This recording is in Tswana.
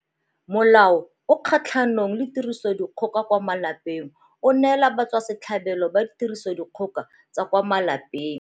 Molao o o Kgatlhanong le Tirisodikgoka kwa Malapeng o neela batswasetlhabelo ba tirisodikgoka tsa kwa malapeng.